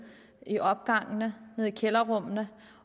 i opgangene nede i kælderrummene